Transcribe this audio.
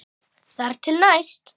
Þar til næst.